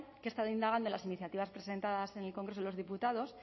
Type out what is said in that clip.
que he estado indagando en las iniciativas presentadas en el congreso de los diputados